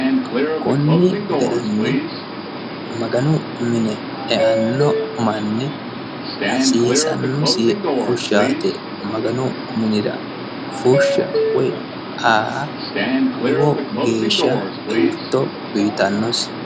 konni garinni maganu mine eanno manni hasiisannosi fushshaate maganu minira fushsha woyi aa lowo geeshsha elto uyiitannosi.